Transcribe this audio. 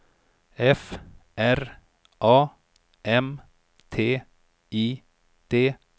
F R A M T I D